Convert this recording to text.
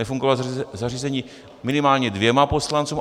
Nefungovalo zařízení minimálně dvěma poslancům.